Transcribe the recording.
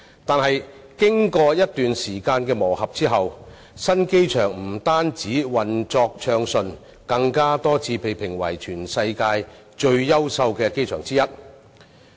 但經過一段時間的磨合，新機場不單運作暢順，更多次被評為全世界其中一個最優秀的機場。